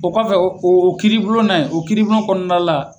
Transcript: O kɔfɛ o o kiiribulon na ye o kiiribulon kɔnɔna la.